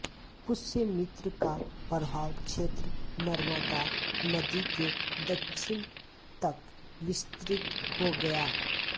पुष्यमित्र का प्रभाव क्षेत्र नर्मदा नदी के दक्षिण तक विस्तृत हो गया